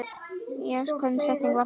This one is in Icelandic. Hvaða setning var það?